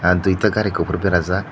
ah duita gari kopor berajak.